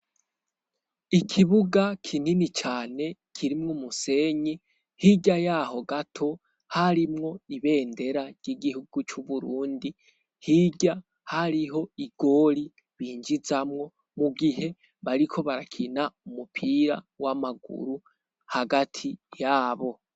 ikibuga kinini cane kirimwo umusenyi hirya yaho gato harimwo ibendera ry'igihugu cy'uburundi hirya hariho igori binjizamwo mu gihe bariko barakina umupira w'amaguru hagati y'abo